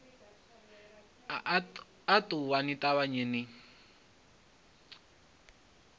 a ṱuwani ni thanye ni